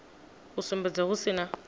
u sumbedza hu si na